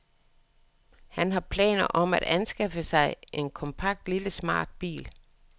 Han har planer om at anskaffe mig en kompakt lille smart bil.